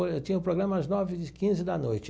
Tinha o programa às nove e quinze da noite.